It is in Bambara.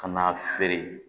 Ka n'a feere